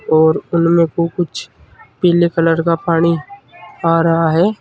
और उनमें को कुछ पीले कलर का पानी आ रहा है।